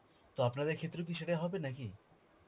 তো আপনাদের ক্ষেত্রেও কি সেটা হবে নাকি?